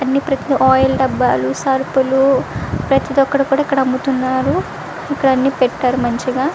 అన్నీ ఆయిల్ డబ్బాలు సరుకులు ప్రతి ఒక్కటి కూడా ఇక్కడ అమ్ముతున్నారు ఇక్కడ అన్నీపెట్టారు మంచిగా.